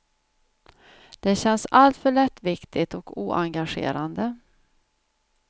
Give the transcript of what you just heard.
Det känns alltför lättviktigt och oengagerande.